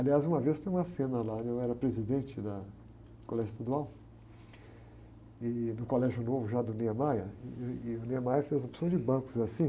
Aliás, uma vez tem uma cena lá, eu era presidente da, do colégio estadual, no colégio novo já do Niemeyer, e o Niemeyer fez a opção de bancos assim,